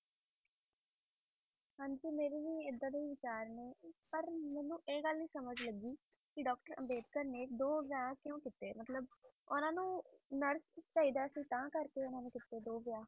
ਹਾਂਜੀ ਮੇਰੇ ਵੀ ਏਡਾ ਦੇ ਵਿਚਾਰ ਨੇ ਪਰ ਮੈਨੂੰ ਇਹ ਗੱਲ ਨਹੀਂ ਸਮਝ ਲੱਗੀ ਕਿ doctor ਅੰਬੇਡਕਰ ਨੇ ਦੀ ਵਿਆਹ ਕਿਉ ਕੀਤੇ ਮਤਲਬ ਓਹਨਾ ਨੂ nurse ਚਾਹੀਦਾ ਸੀ ਤਨ ਕਰਕੇ ਕਿਉ ਕੀਤੇ ਦੋ ਵਿਆਹ